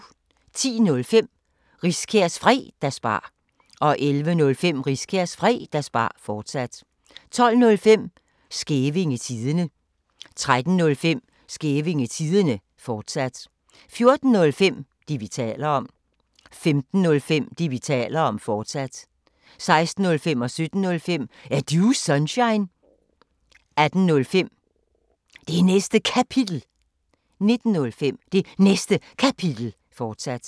10:05: Riskærs Fredagsbar 11:05: Riskærs Fredagsbar, fortsat 12:05: Skævinge Tidende 13:05: Skævinge Tidende, fortsat 14:05: Det, vi taler om 15:05: Det, vi taler om, fortsat 16:05: Er Du Sunshine? 17:05: Er Du Sunshine? 18:05: Det Næste Kapitel 19:05: Det Næste Kapitel, fortsat